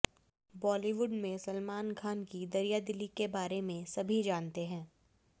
बॉलीवुड में सलमान खान की दरियादिली के बारे में सभी जानते हैं